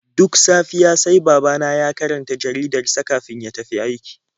Duk safiya sai babana ya karanta jaridar sa kafin ya tafi aiki.